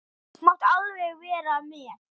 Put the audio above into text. Þú mátt alveg vera með.